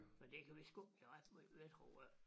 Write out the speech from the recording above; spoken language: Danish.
Men de kan vi sgu ikke gøre ret meget ved tror jeg ikke